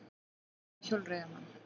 Ekið á hjólreiðamann